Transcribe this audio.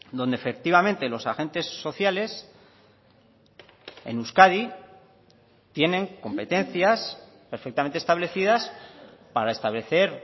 donde efectivamente los agentes sociales en euskadi tienen competencias perfectamente establecidas para establecer